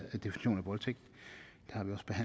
voldtægt